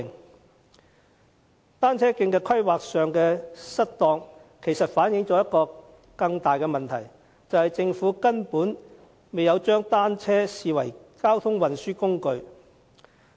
當局在單車徑規劃上的失當，反映一個更大的問題，便是政府根本未有將單車視為交通運輸工具。